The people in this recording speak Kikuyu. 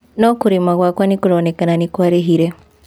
No kũĩima gwaakwa nĩ kũroneka nĩ kwarĩhire.